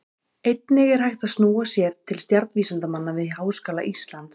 Einnig er hægt að snúa sér til stjarnvísindamanna við Háskóla Íslands.